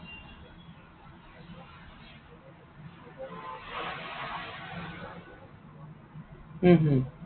হম হম